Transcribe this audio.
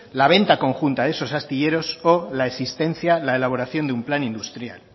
la venta conjunta de estos astilleros por la existencia la elaboración de un plan industrial